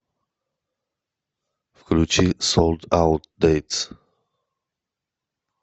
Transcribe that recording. включи солд аут дэйтс